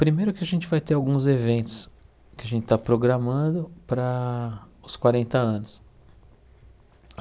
Primeiro que a gente vai ter alguns eventos que a gente está programando para os quarenta anos.